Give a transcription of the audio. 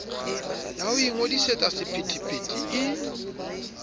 ya ho ingodisetsa sephethephethe e